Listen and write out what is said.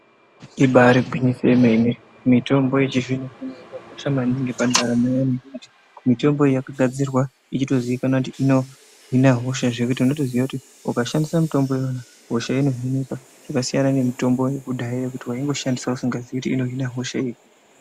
Ibaari gwinyiso yemene mitombo yechizvino zvino yakakosha maningi pandaramo yedu nekuti mitombo iyi yakagadzirwa ichitozikwanwa kuti inohina hosha zvekuti unotoziya kuti ukashandisa mitombo yona hosha inohinika zvakasiyana nemitombo yekudhaya zvekuti waingoshandisa usingazii kuti inohina hosha iri.